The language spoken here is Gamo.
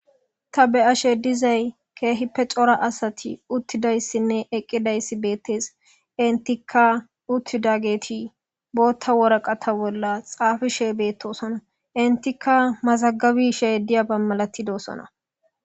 ta be7ashe dizay keehippe cora asati uttidayssinne eqqidayssi beettees intika uttida geti bootta woraqa ta bolla xaafishe beettosona intikka mazagabi she diya bammalatidosona